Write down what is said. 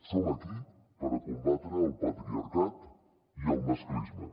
som aquí per combatre el patriarcat i el masclisme